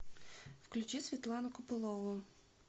включи светлану копылову